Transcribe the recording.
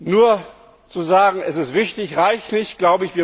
Nur zu sagen, das ist wichtig, reicht nicht.